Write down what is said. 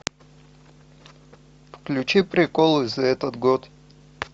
включи приколы за этот год